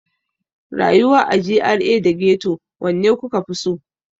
Rayuwa a GRA da Ghetto, wanne kuka fi so?